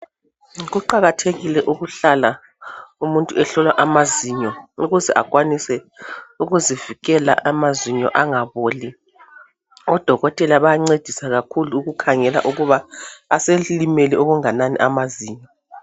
Kuqakathekile ukuhlala umuntu ehlola amazinyo ukuze akwanise ukuzivikela amazinyo angaboli. Odokotela bayancedisa kakhulu ukukhangela ukuba aselimele okunganani amazinyo.